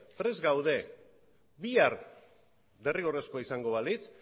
prest gaude bihar derrigorrezkoa izango balitz